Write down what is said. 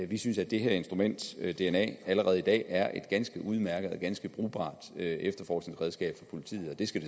vi synes at det her instrument dna allerede i dag er et ganske udmærket og ganske brugbart efterforskningsredskab for politiet og det skal